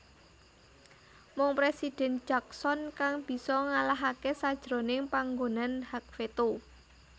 Mung Presiden Jackson kang bisa ngalahake sajroning panganggonan hak veto